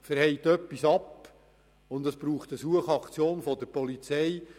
Wenn etwas schiefgeht, braucht es eine Suchaktion der Polizei.